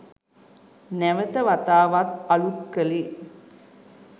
නැවත වතාවක් අලුත් කලේ